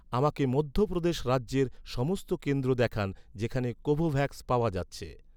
আমাকে মধ্য প্রদেশ রাজ্যের সমস্ত কেন্দ্র দেখান, যেখানে কোভোভ্যাক্স পাওয়া যাচ্ছে